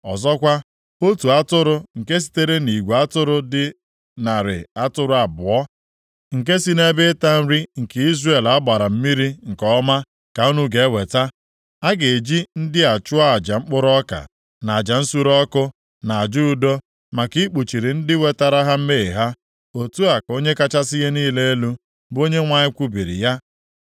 Ọzọkwa, otu atụrụ nke sitere nʼigwe atụrụ dị narị atụrụ abụọ, nke si nʼebe ịta nri nke Izrel a gbara mmiri nke ọma ka unu ga-eweta. A ga-eji ndị a chụọ aja mkpụrụ ọka, na aja nsure ọkụ, na aja udo, maka ikpuchiri ndị wetara ha mmehie ha. Otu a ka Onye kachasị ihe niile elu, bụ Onyenwe anyị kwubiri ya.